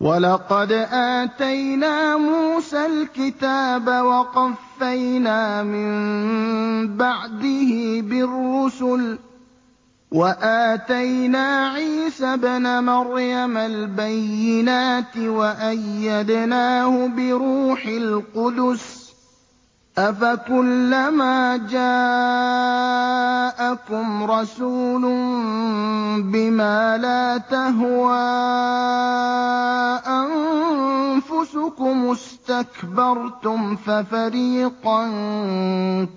وَلَقَدْ آتَيْنَا مُوسَى الْكِتَابَ وَقَفَّيْنَا مِن بَعْدِهِ بِالرُّسُلِ ۖ وَآتَيْنَا عِيسَى ابْنَ مَرْيَمَ الْبَيِّنَاتِ وَأَيَّدْنَاهُ بِرُوحِ الْقُدُسِ ۗ أَفَكُلَّمَا جَاءَكُمْ رَسُولٌ بِمَا لَا تَهْوَىٰ أَنفُسُكُمُ اسْتَكْبَرْتُمْ فَفَرِيقًا